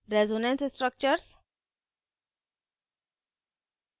resonance resonance structures